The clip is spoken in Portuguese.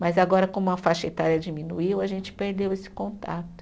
Mas agora, como a faixa etária diminuiu, a gente perdeu esse contato.